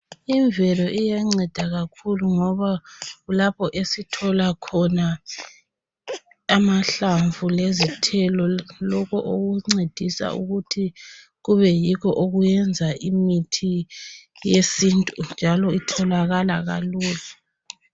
Imvelo iyanceda kakhulu ngoba kulapho esithola khona amahlamvu lezithelo, lokho okuncedisa ukuthi kube yikho okwenza imithi yesintu njalo itholakala kalula.